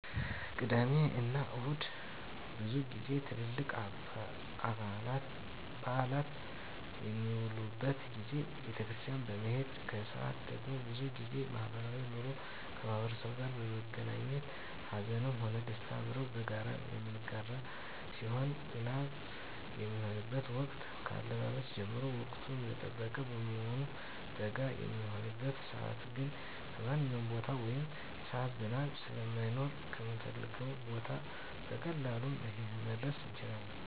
ቅዳሜ እና እሁድ ብዙ ጊዜ ትልልቅ በአላት በሚዉሉበት ጊዜ ቤተክርስቲያን በመሄድ ከሰአት ደግሞ ብዙ ጊዜ ማህበራዊ ኑሮ ከማህበረሰቡ ጋር በመገናኘት ሀዘንም ሆነ ደስታ አብረን በጋራ የምንጋራ ሲሆን ዝናብ በሚሆንበት ወቅት ከአለባበስ ጀምሮ ወቅቱን የጠበቀ በመሆኑ በጋ በሚሆንበት ሰዓትግን በማንኛዉም ቦታ ወይም ሰዓት ዝናብ ስለማይኖር ከምንፈልገዉ ቦታ በቀላሉ መድረስ እንችላለን